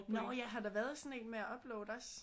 Nå ja har der været sådan en med at uploade også